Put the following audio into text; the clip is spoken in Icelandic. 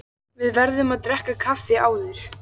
Við verðum að drekka kaffi áður.